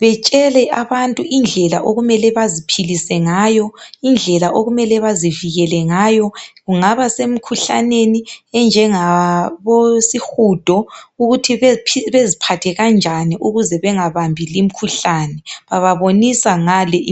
betshele abantu indlela okumele baziphilise ngayo indlela okumele bazivikele ngayo kungaba semkhuhlaneni enjangabo sihudo ukuthi beziphathe kanjani ukuthi bangabambi limikhuhlane bababonisa ngale